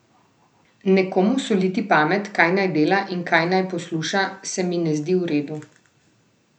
Nekomu soliti pamet, kaj naj dela in kaj naj posluša se mi ne zdi v redu.